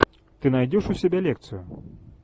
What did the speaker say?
ты найдешь у себя лекцию